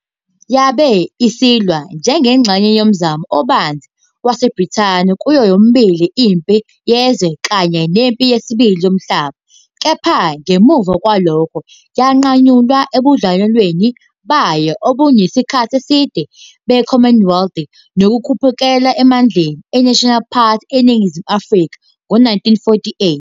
Yabe isilwa njengengxenye yomzamo obanzi waseBrithani kuyo yomibili iMpi Yezwe I kanye neMpi Yesibili Yomhlaba, kepha ngemuva kwalokho yanqanyulwa ebudlelwaneni bayo obabunesikhathi eside be-Commonwealth nokukhuphukela emandleni eNational Party eNingizimu Afrika ngo-1948.